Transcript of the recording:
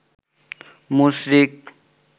মুশরিক